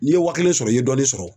N'i ye wa kelen sɔrɔ i ye dɔɔnin sɔrɔ